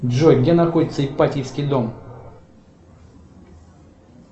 джой где находится ипатьевский дом